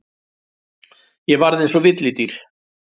Ég varð eins og villidýr.